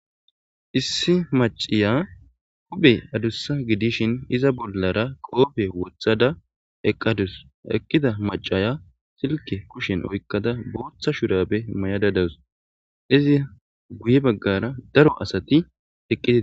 Issi maciya huphe adussa gidishin iza bollara qoobe wothada eqqadus eqkida macaya silke kushen oykkada booththa shurabe mayada dawus izi guye baggara daro asati eqqi e.